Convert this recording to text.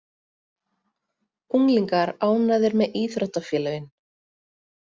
Unglingar ánægðir með íþróttafélögin